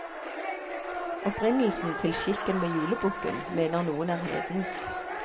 Opprinnelsen til skikken med julebukken mener noen er hedensk.